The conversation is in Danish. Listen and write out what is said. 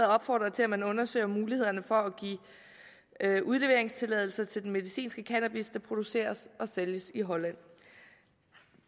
opfordrer til at man undersøger mulighederne for at give udleveringstilladelser til den medicinske cannabis der produceres og sælges i holland